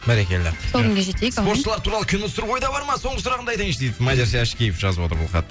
бәрекелді сол күнге жетейік спортшылар туралы кино түсіру ойда бар ма соңғы сұрағымды айтайыншы дейді мадияр ашкеев жазып отыр бұл хат